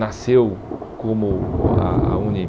Nasceu como a a UNE.